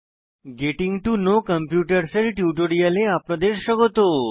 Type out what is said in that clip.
getting to know কম্পিউটারসহ এর টিউটোরিয়ালে আপনাদের স্বাগত